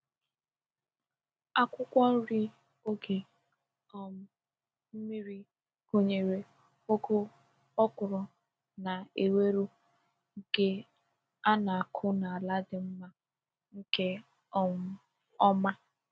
Akwụkwọ nri oge um mmiri gụnyere ugu, okra, na ewuro nke a na-akụ n’ala dị mma nke um ọma.